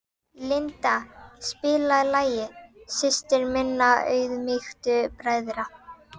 Linda, spilaðu lagið „Systir minna auðmýktu bræðra“.